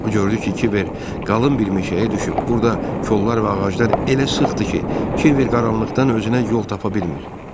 O gördü ki, Kiver qalın bir meşəyə düşüb, burda kollar və ağaclar elə sıxdır ki, Kiver qaranlıqdan özünə yol tapa bilmir.